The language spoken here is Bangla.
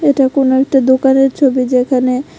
এটা কোনো একটা দোকানের ছবি যেখানে--